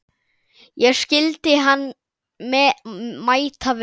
Ég skildi hann mæta vel.